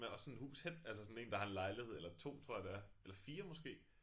Med også sådan hus hen altså sådan 1 der har lejlighed eller 2 tror jeg det er eller 4 måske